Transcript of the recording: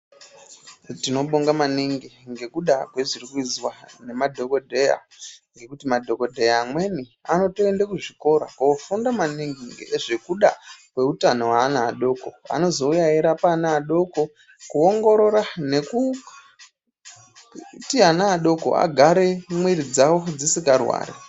Tinobonga maningi ngekuda kwezviri kuizwa nemadhogodheya ngekuti madhogodheya amweni anotoende kuzvikora kofunda maningi ngezvekuda kweutano hweana adoko. Anozouya eirapa ana adoko kuongorira nekuti ana adoko agare mwiri dzavo dzisika rwari.